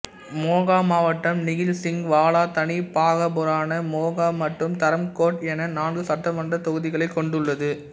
மொகா மாவட்டம் நிகில் சிங் வாலா தனி பாகபுராணா மொகா மற்றும் தரம்கோட் என நான்கு சட்டமன்ற தொகுதிகளைக் கொண்டுள்ளது